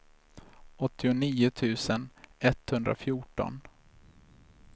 åttionio tusen etthundrafjorton